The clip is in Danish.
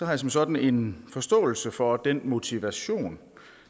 jeg som sådan en forståelse for den motivation